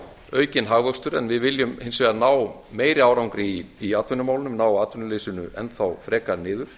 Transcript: aukinn hagvöxtur en við viljum hins vegar ná meiri árangri í atvinnumálum ná atvinnuleysinu enn þá frekar niður